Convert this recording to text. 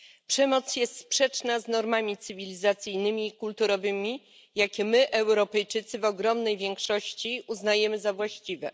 Przemoc jest sprzeczna z normami cywilizacyjnymi i kulturowymi, jakie my, Europejczycy w ogromnej większości uznajemy za właściwe.